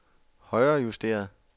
højrejusteret